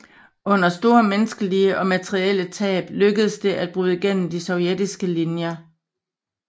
Under store menneskelige og materielle tab lykkedes det at bryde gennem de sovjetiske linjer